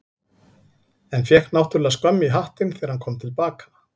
En fékk náttúrlega skömm í hattinn þegar hann kom til baka.